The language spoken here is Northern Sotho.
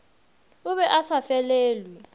o be a sa felelwe